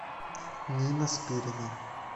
нина спирина